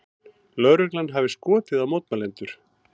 Lögreglan hafi skotið á mótmælendur